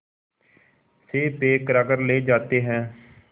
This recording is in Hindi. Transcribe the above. से पैक कराकर ले जाते हैं